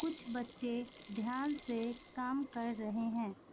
कुछ बच्चे ध्यान से काम कर रहे हैं।